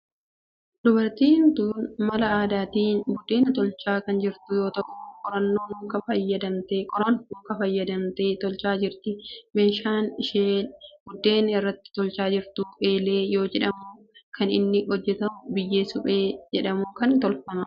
Dubartiin tun mala aadaatin buddeen tolchaa kan jirtu yoo ta'u qoraan mukaa fayyadamtee tolchaa jirti. Meeshaan isheen buddeen irratti tolchaa jirtu eelee yoo jedhamu kan inni hojjetamu biyyee suphee jedhamu irraa tolfama.